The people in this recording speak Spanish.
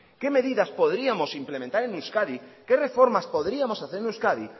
qué medidas podríamos implementar en euskadi qué reformas podríamos hacer en euskadi